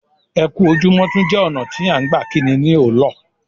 Ẹ ku ojúmọ tún jẹ́ ọna tí à gbà kínní ní ọ́lọ́